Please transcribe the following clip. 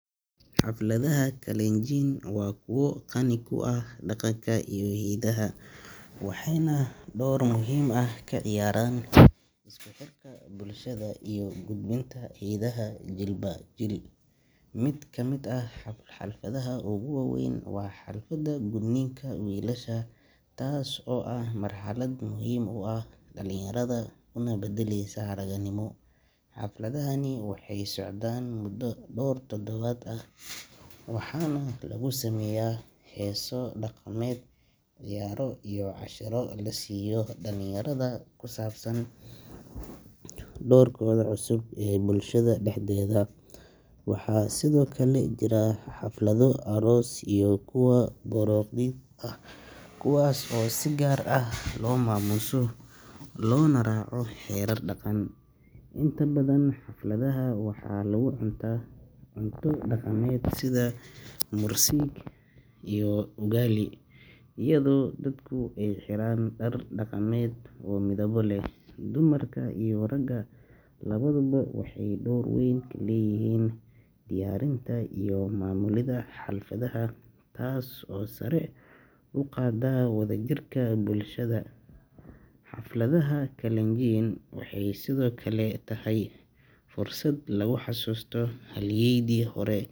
Xafladaha Kalenjin waa kuwo qani ku ah dhaqanka iyo hidaha, waxayna door muhiim ah ka ciyaaraan isku xirka bulshada iyo gudbinta hiddaha jiilba jiil. Mid ka mid ah xafladaha ugu weyn waa xafladda gudniinka wiilasha, taas oo ah marxalad muhiim u ah dhalinyarada una beddelaysa ragannimo. Xafladahani waxay socdaan muddo dhowr toddobaad ah waxaana lagu sameeyaa heeso dhaqameed, ciyaaro iyo casharro la siiyo dhallinyarada ku saabsan doorkooda cusub ee bulshada dhexdeeda. Waxaa sidoo kale jira xaflado aroos iyo kuwo baroordiiq ah, kuwaas oo si gaar ah loo maamuuso loona raaco xeerar dhaqan. Inta badan xafladaha waxaa lagu cuntaa cunto dhaqameed sida mursik caano fadhi dhaqameed) iyo ugali, iyadoo dadku ay xiraan dhar dhaqameed oo midabo leh. Dumarka iyo ragga labaduba waxay door weyn ku leeyihiin diyaarinta iyo maamulidda xafladahaas, taas oo sare u qaadda wadajirka bulshada. Xafladaha Kalenjin waxay sidoo kale tahay fursad lagu xusuusto halyeeyadii hore.